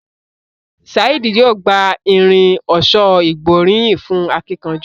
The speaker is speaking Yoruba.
Saheed yóò gbà Irin ọ̀ṣọ́ ìgbóríyìn fún akínkanjú.